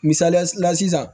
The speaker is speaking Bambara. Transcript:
Misalila sisan